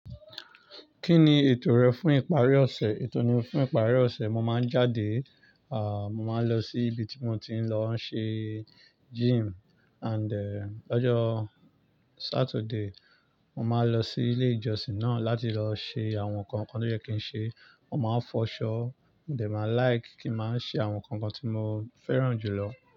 Kí ni ètò rẹ fún ìparí ọ̀sẹ̀? Ètò mi fún ìparí ọ̀sẹ̀, mo máa ń jáde, mo máa ń lọ sí ibi tí mo ti ń lọ n ṣe gym and lọ́jọ́ Saturday, mo máa n lọ sí ilé ìjọsìn náà láti lọ ṣe àwọn nǹkan kan tó yẹ́ kí n ṣe. Mo máa ń fọṣọ, mo dẹ̀ máa like kí ń máa ṣe àwọn nǹkan kan tí mo fẹ́ràn jù lọ.